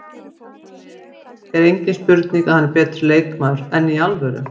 Það er engin spurning að hann er betri leikmaður, enn í alvöru?